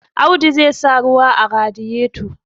Audu zai sa ruwa a radiyeto